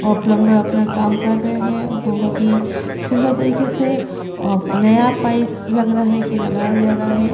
और प्लम्बर अपना काम कर रहे है बहोत ही सुन्दर तरीके से नया पाइप लग रहा है के लगाया जा रहा है।